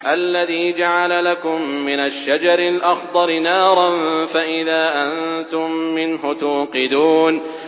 الَّذِي جَعَلَ لَكُم مِّنَ الشَّجَرِ الْأَخْضَرِ نَارًا فَإِذَا أَنتُم مِّنْهُ تُوقِدُونَ